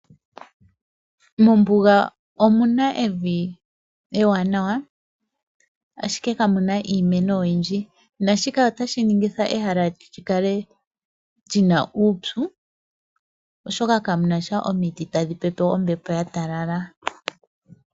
Mombuga omu na evi ewanawa, ashike kamu na iimeno oyindji. Naashika otashi ningitha ehala li kale li na uupyu, oshoka kamu na sha omiti tadhi pepe ombepo ya talala.